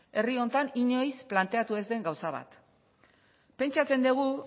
herri honetan inoiz planteatu ez den gauza bat pentsatzen dugu